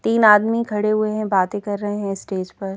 तीन आदमी खड़े हुए हैं बातें कर रहे हैं स्टेज पर--